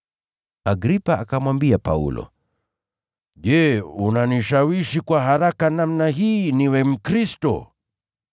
Agripa akamwambia Paulo, “Je, unanishawishi kwa haraka namna hii niwe Mkristo?”